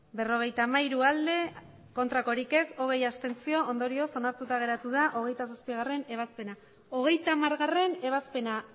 berrogeita hamairu abstentzioak hogei ondorioz onartuta geratu da hogeita zazpigarrena ebazpena hogeita hamargarrena ebazpena